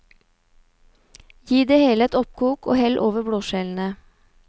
Gi det hele et oppkok og hell over blåskjellene.